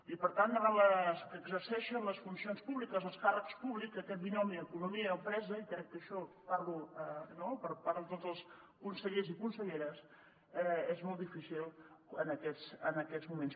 i per tant davant les que exerceixen les funcions públiques els càrrecs públics aquest binomi economia empresa i crec que això parlo per part de tots els consellers i conselleres és molt difícil en aquests moments